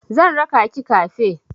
Zan raka ki kafe.